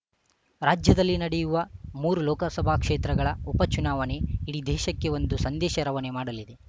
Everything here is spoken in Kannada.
ರಾಜ್ಯದಲ್ಲಿ ನಡೆಯಲಿರುವ ಮೂರು ಲೋಕಸಭಾ ಕ್ಷೇತ್ರಗಳ ಉಪ ಚುನಾವಣೆ ಇಡೀ ದೇಶಕ್ಕೆ ಒಂದು ಸಂದೇಶ ರವಾನೆ ಮಾಡಲಿದೆ